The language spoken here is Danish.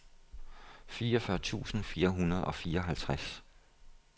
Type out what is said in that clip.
fireogfyrre tusind fire hundrede og fireoghalvtreds